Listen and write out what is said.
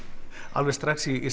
alveg strax í